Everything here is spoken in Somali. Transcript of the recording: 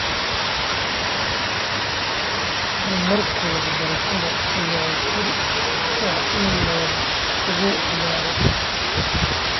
Horumarka waxbarashada ayaa fure u ah in nabad lagu gaaro.